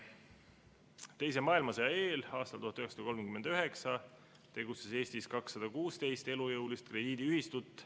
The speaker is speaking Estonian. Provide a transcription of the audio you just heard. Teise maailmasõja eel, 1939. aastal tegutses Eestis 216 elujõulist krediidiühistut.